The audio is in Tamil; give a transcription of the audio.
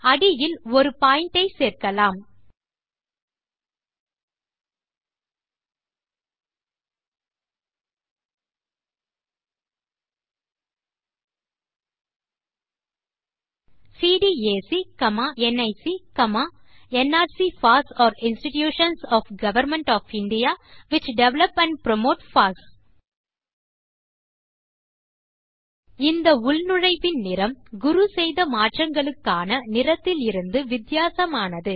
அடியில் ஒரு பாயிண்ட் ஐ சேர்க்கலாம் CDAC NIC nrc pass are institutions of government of India which develop and promote pass இந்த உள்நுழைவின் நிறம் குரு செய்த மாற்றங்களுக்கான நிறத்திலிருந்து வித்தியாசமானது